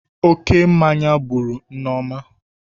Oke mmanya gburu Nneoma